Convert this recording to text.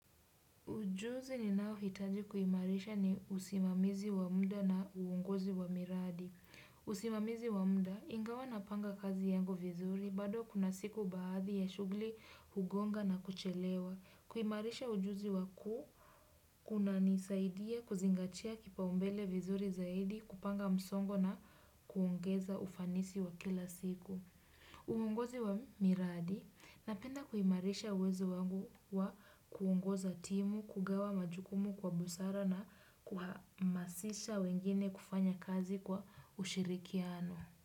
Ujuzi ninaohitaji kuimarisha ni usimamizi wa muda na uongozi wa miradi. Usimamizi wa muda, ingawa na panga kazi yangu vizuri, bado kuna siku baadhi ya shughuli hugonga na kuchelewa. Kuimarisha ujuzi waku, kunanisaidia kuzingatia kipaumbele vizuri zaidi, kupanga msongo na kuongeza ufanisi wa kila siku. Uongozi wa miradi na penda kuimarisha uwezo wangu wa kuongoza timu, kugawa majukumu kwa busara na kuhamasisha wengine kufanya kazi kwa ushirikiano.